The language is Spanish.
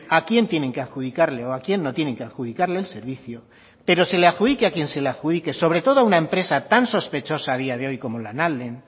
a quién tienen que adjudicarle o a quién no tienen que adjudicarle el servicio pero se le adjudique a quien se le adjudique sobre todo a una empresa tan sospechosa a día de hoy como lanalden